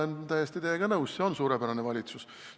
Ma olen täiesti teiega nõus, see on suurepärane valitsus.